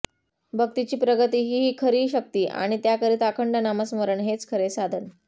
भक्तीची प्रगती ही खरी शक्ती आणि त्याकरिता अखंड नामस्मरण हेच खरे साधन